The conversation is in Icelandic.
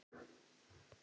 Gat ekki staðið kyrr.